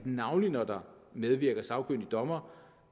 navnlig når der medvirker sagkyndige dommere